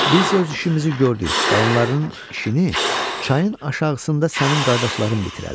Biz öz işimizi gördük, qalanlarının işini çayın aşağısında sənin qardaşların bitirərlər.